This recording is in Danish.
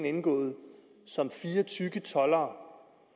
indgået som fire tykke toldere